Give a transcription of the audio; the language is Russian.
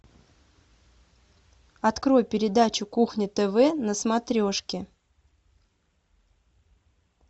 открой передачу кухня тв на смотрешке